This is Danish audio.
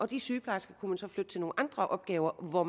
de sygeplejersker kunne man så flytte til nogle andre opgaver hvor